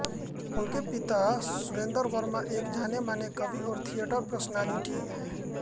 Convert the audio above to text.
उनके पिता सुरेंद्र वर्मा एक जानेमाने कवि और थिएटर पर्सनालिटी हैं